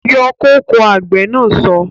Yọ kóko! Àgbè na so